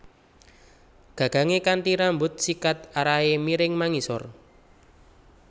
Gagangé kanthi rambut sikat arahé miring mangisor